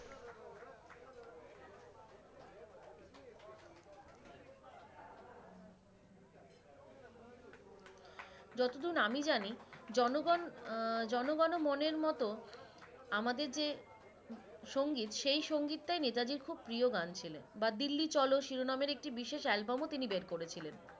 যতদূর আমি জানি জনগণ আহ জনগণ ও মনের মত আমাদের যে সঙ্গীত সেই সঙ্গীতটাই নেতাজীর খুব প্রিয় গান ছিলো বা দিল্লি চলো শিরোনামের একটি বিশেষ অ্যালবাম ও তিনি বের করেছিলেন